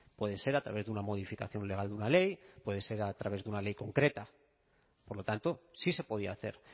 puede ser a través de una modificación legal de una ley puede ser a través de una ley concreta por lo tanto sí se podía hacer